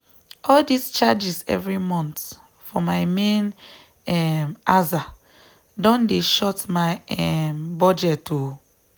all dis charges every month for my main um aza don dey short my um budget o.